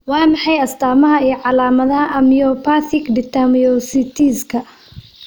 Waa maxay astamaha iyo calaamadaha Amyopathic dermatomyositiska?